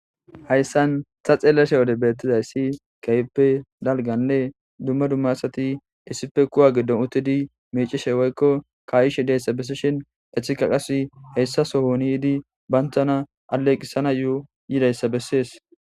hayssan ta xeelashe wode beettizay si kayippe dalganlee dumma dummasati issife kuwa giddon uttidi miicishe woykko kaayishi deyssa besseshin echika qasi heyssaso hooni di bantana aleeqqisana yo7o yidayssa bessees